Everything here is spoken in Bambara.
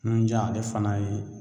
Nunjan ale fana ye